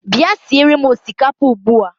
Bịa siere m osikapa ugbua!